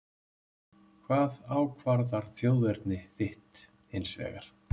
Hvað ákvarðar þjóðerni þitt hins vegar?